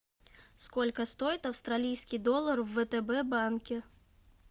сколько стоит австралийский доллар в втб банке